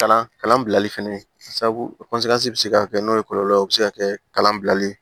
Kalan kalan bilali fɛnɛ sabu bi se ka kɛ n'o ye kɔlɔlɔ o be se ka kɛ kalan bilali